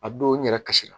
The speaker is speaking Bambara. A don n yɛrɛ kasira